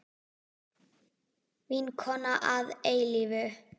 Vinkona að eilífu.